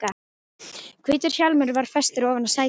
Hvítur hjálmur var festur ofan á sætið.